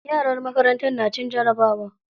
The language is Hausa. Yaran makarantar na cin jarabawa.